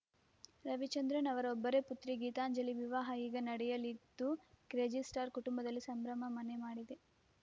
ರವಿಚಂದ್ರನ್‌ ಅವರ ಒಬ್ಬರೇ ಪುತ್ರಿ ಗೀತಾಂಜಲಿ ವಿವಾಹ ಈಗ ನಡೆಯಲಿದ್ದು ಕ್ರೇಜಿಸ್ಟಾರ್‌ ಕುಟುಂಬದಲ್ಲಿ ಸಂಭ್ರಮ ಮನೆ ಮಾಡಿದೆ